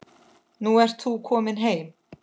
Nú ert þú komin heim.